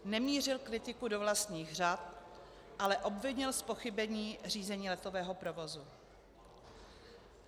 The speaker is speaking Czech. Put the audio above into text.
Nemířil kritiku do vlastních řad, ale obvinil z pochybení Řízení letového provozu.